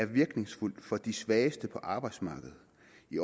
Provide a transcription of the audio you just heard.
virkningsfuld for de svageste på arbejdsmarkedet